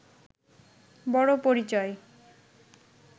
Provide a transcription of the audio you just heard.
বড় পরিচয়